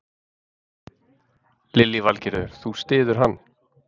Lillý Valgerður: Þú styður hann?